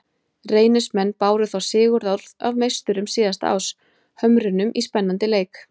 Reynismenn báru þá sigurorð af meisturum síðasta árs, Hömrunum, í spennandi leik.